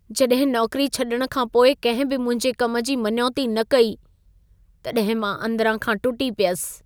जॾहिं नौकरी छॾण खां पोइ कंहिं बि मुंहिंजे कम जी मञौती न कई, तॾहिं मां अंदिरां खां टुटी पियसि।